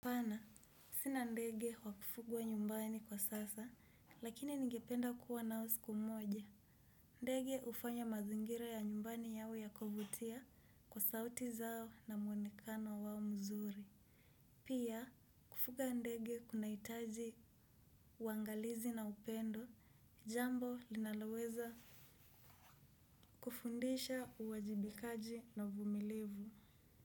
Haana, sina ndege wa kufugwa nyumbani kwa sasa, lakini nigependa kuwa nao siku moja. Ndege hufanya mazingira ya nyumbani yawe ya kuvutia kwa sauti zao na muonekano wao mzuri. Pia, kufuga ndege kunahitaji uangalizi na upendo, jambo linaloweza kufundisha uwajibikaji na uvumilivu.